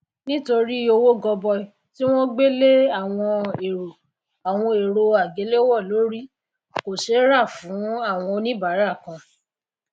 nítorí owó goboi tí won gbé lé awon èrò awon èrò àgéléwò lórì kò sé rà fún áwon oníbárà kan